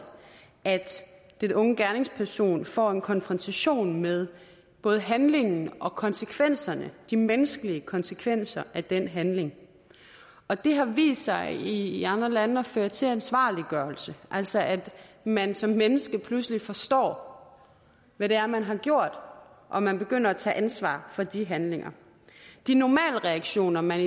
at den unge gerningsperson får en konfrontation med både handlingen og konsekvenserne de menneskelige konsekvenser af den handling og det har vist sig i andre lande at føre til ansvarliggørelse altså at man som menneske pludselig forstår hvad det er man har gjort og man begynder at tage ansvar for de handlinger de normale reaktioner man